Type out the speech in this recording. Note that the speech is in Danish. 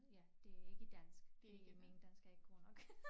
Ja det ikke dansk det min dansk er ikke god nok